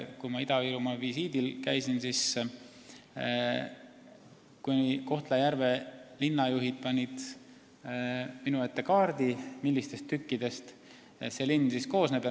Kui ma Ida-Virumaa visiidil käisin, siis panid Kohtla-Järve linnajuhid minu ette kaardi, et näidata, millistest tükkidest see linn koosneb.